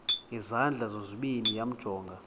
ngezandla zozibini yamjonga